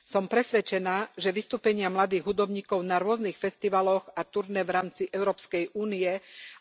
Som presvedčená, že vystúpenia mladých hudobníkov na rôznych festivaloch a turné v rámci EÚ,